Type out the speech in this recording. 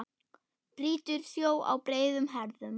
Brýtur sjó á breiðum herðum.